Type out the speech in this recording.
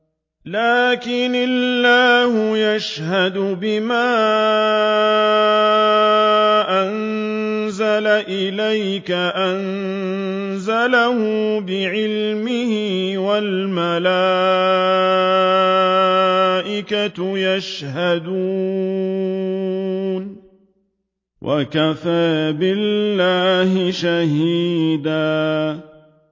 لَّٰكِنِ اللَّهُ يَشْهَدُ بِمَا أَنزَلَ إِلَيْكَ ۖ أَنزَلَهُ بِعِلْمِهِ ۖ وَالْمَلَائِكَةُ يَشْهَدُونَ ۚ وَكَفَىٰ بِاللَّهِ شَهِيدًا